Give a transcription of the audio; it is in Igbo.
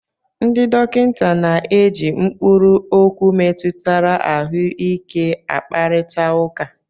Ndị dọkịta na-eji mkpụrụ okwu metụtara ahụike a kparịta ụka.